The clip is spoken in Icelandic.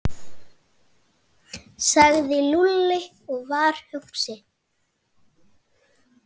sagði Lúlli og var hugsi.